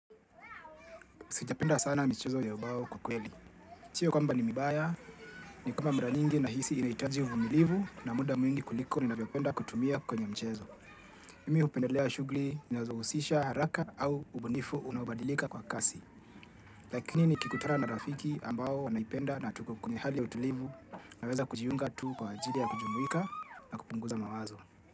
Sijapenda sana mchezo ya ubao kiukweli. Sio kwamba ni mibaya, ni kwamba mara nyingi nahisi inaitaji uvumilivu na muda mwingi kuliko ninavyopenda kutumia kwenye mchezo. Mimi upendelea shughuli inazohusisha haraka au ubunifu unabadilika kwa kasi. Lakini nikikutana na rafiki ambao wanaipenda na tuko kwenye hali ya utulivu naweza kujiunga tu kwa ajili ya kujumuika na kupunguza mawazo.